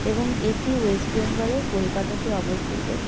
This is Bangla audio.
এবং এটি ওয়েস্ট বেঙ্গল -এর কোলকাতাতে অবস্থিত।